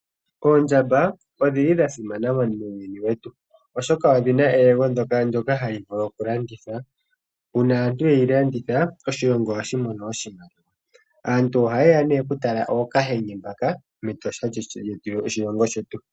Ondjamba odhili dhasimana muuyuni wetu ,oshoka odhina eyego ndyoka hali vulu okulandithwa .Uuna aantu yeli landitha oshilongo ohashi mono oshimaliwa. Aantu ohayeya nee okutala ookahenge mbaka mEtosha lyoshilongo shetu.